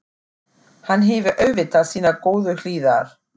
Hann hefur auðvitað sínar góðu hliðar.